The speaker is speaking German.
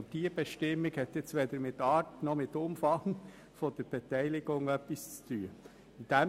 Die beantragte Bestimmung hat nun weder mit der Art noch mit dem Umfang der Beteiligung etwas zu tun.